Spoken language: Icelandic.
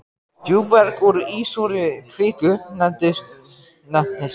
Djúpberg úr ísúrri kviku nefnist díorít.